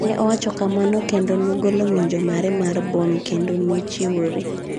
Ne owacho kamano kendo nogolo ng’injo mare mar bom kendo nochiwore.